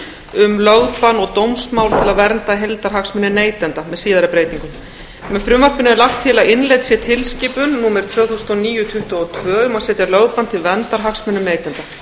um lögbann og dómsmál til að vernda heildarhagsmuni neytenda með síðari breytingum með frumvarpinu er lagt til að innleidd sé tilskipun númer tvö þúsund og níu tuttugu og tvö um að setja lögbann til verndar hagsmunum neytenda